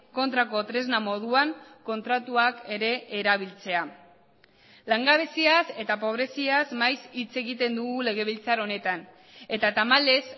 kontrako tresna moduan kontratuak ere erabiltzea langabeziaz eta pobreziaz maiz hitz egiten dugu legebiltzar honetan eta tamalez